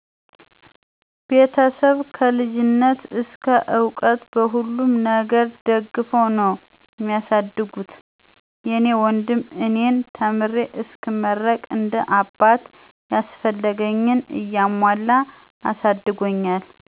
ቤተሰብ ከ ልጅነት እስከ እዉቀት በሁሉም ነገር ደግፈዉ ነዉ ሚያሳድጉት። የኔ ወንድም እኔን ተምሬ እስክመረቅ እንደ አባት ያስፈለገኝን እያሞላ አሳድጎኛል።